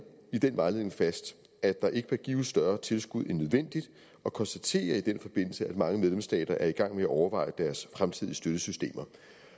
i den vejledning fast at der ikke bør gives større tilskud end nødvendigt og konstaterede i den forbindelse at mange medlemsstater er i gang med at overveje deres fremtidige støttesystemer